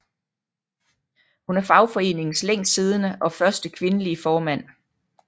Hun er fagforeningens længst sidende og første kvindelige formand